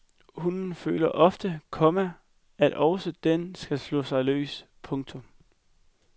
Hunden føler ofte, komma at også den skal slå sig løs. punktum